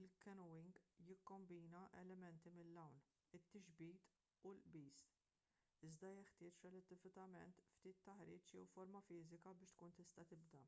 il-canyoning jikkombina elementi mill-għawm it-tixbit u l-qbiż--iżda jeħtieġ relattivament ftit taħriġ jew forma fiżika biex tkun tista’ tibda